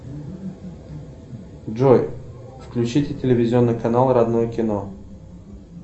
джой включите телевизионный канал родное кино